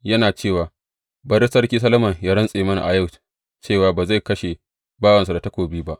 Yana cewa, Bari Sarki Solomon yă rantse mini a yau cewa ba zai kashe bawansa da takobi ba.’